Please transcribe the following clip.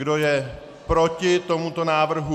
Kdo je proti tomuto návrhu?